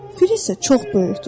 Fil isə çox böyükdür.